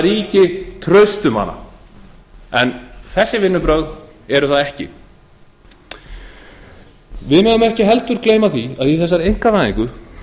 ríki traust um hana en þessi vinnubrögð eru það ekki við megum ekki heldur gleyma því að í þessari einkavæðingu